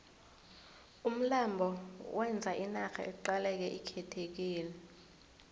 umlando wenza inarha iqaleke ikhethekile